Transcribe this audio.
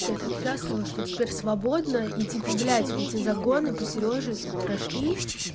я так счастлива что теперь свободна и типа блядь эти загоны по сереже прошли